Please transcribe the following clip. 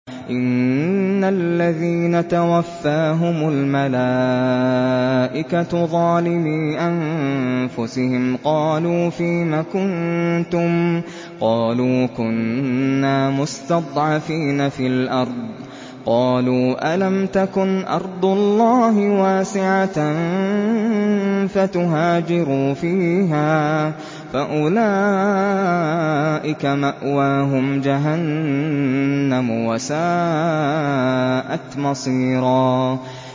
إِنَّ الَّذِينَ تَوَفَّاهُمُ الْمَلَائِكَةُ ظَالِمِي أَنفُسِهِمْ قَالُوا فِيمَ كُنتُمْ ۖ قَالُوا كُنَّا مُسْتَضْعَفِينَ فِي الْأَرْضِ ۚ قَالُوا أَلَمْ تَكُنْ أَرْضُ اللَّهِ وَاسِعَةً فَتُهَاجِرُوا فِيهَا ۚ فَأُولَٰئِكَ مَأْوَاهُمْ جَهَنَّمُ ۖ وَسَاءَتْ مَصِيرًا